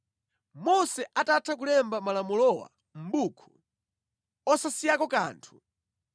Mose atatha kulemba malamulowa mʼbuku, osasiyako kanthu,